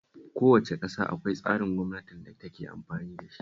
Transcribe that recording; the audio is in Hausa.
Kowace ƙasa akwai tsarin gwamnatin da take amfani da shi